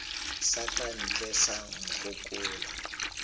sa ka ntle sa nkgokolo